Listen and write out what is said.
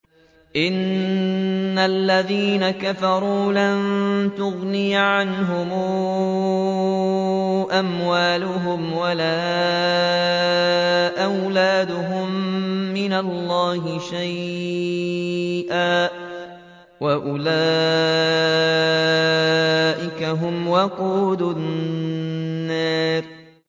إِنَّ الَّذِينَ كَفَرُوا لَن تُغْنِيَ عَنْهُمْ أَمْوَالُهُمْ وَلَا أَوْلَادُهُم مِّنَ اللَّهِ شَيْئًا ۖ وَأُولَٰئِكَ هُمْ وَقُودُ النَّارِ